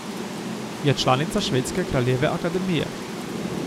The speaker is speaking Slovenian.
Je članica Švedske kraljeve akademije.